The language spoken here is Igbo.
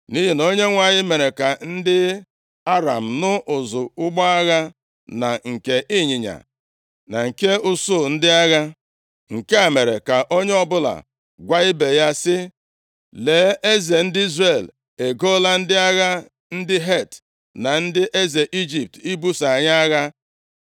nʼihi na Onyenwe anyị mere ka ndị Aram nụ ụzụ ụgbọ agha na nke ịnyịnya, na nke usuu ndị agha. Nke a mere ka onye ọbụla gwa ibe ya sị, “Lee, eze ndị Izrel egoola ndị agha ndị Het, na ndị eze Ijipt ibuso anyị agha.”